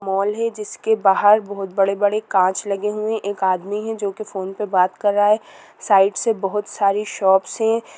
mall है जिसके बाहर बहुत बड़े-बड़े कांच लगे हुए आदमी है जो कि फोन पर बात कर रहा है साइड से बहुत सारी शॉपस से--